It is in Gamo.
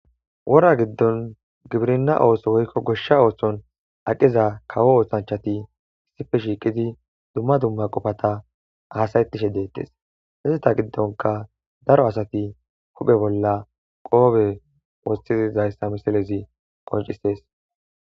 Wora giddon gibirna ooso woykko goshsha oohshon aqiza kawo oohshanchati issife shiiqidi dumma dumma qofata asayettishe deettes hissata giddonka daro asati huphe bolla qoobe wostiizayssa misalezi qoncisees